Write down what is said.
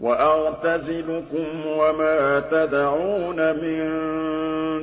وَأَعْتَزِلُكُمْ وَمَا تَدْعُونَ مِن